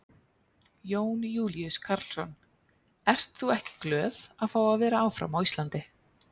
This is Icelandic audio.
Jón Júlíus Karlsson: Ert þú ekki glöð að fá að vera áfram á Íslandi?